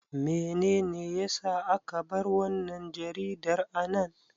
Menene ya sa aka bar wannan jaridar a nan?